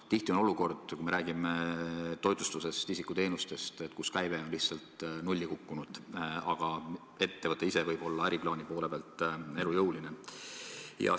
Tihti on olukord, kus me räägime toitlustusest, isikuteenustest, kus käive on lihtsalt nulli kukkunud, aga ettevõte ise võib äriplaani poole pealt olla elujõuline.